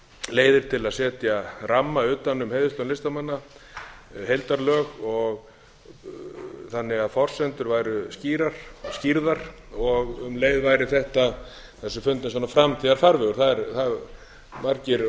leiðir til að setja ramma utan um heiðurslaun listamanna heildarlög þannig að forsendur væru skýrðar og um leið væri þetta þessu fundinn framtíðarfarvegur það hafa margir